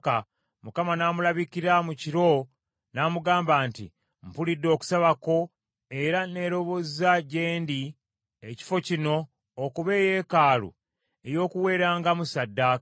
Mukama n’amulabikira mu kiro n’amugamba nti, “Mpulidde okusaba kwo, era neerobozza gye ndi ekifo kino okuba eyeekaalu ey’okuweerangamu ssaddaaka.